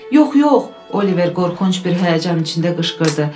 Yox, yox, Oliver qorxunc bir həyəcanın içində qışqırdı.